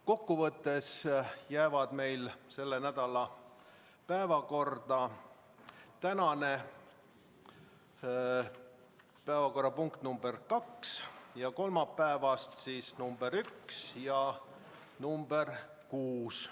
Kokkuvõttes jäävad meil selle nädala päevakorda tänane päevakorrapunkt nr 2 ning kolmapäeval nr 1 ja nr 6.